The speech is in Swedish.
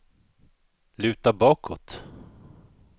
luta bakåt